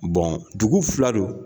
Bɔn dugu fila don